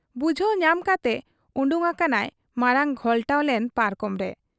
ᱵᱩᱡᱷᱟᱹᱣ ᱧᱟᱢ ᱠᱟᱛᱮ ᱚᱰᱚᱠ ᱟᱠᱟᱱᱟᱭ ᱢᱟᱬᱟᱝ ᱜᱷᱚᱞᱴᱟᱣ ᱞᱮᱱ ᱯᱟᱨᱠᱚᱢ ᱨᱮ ᱾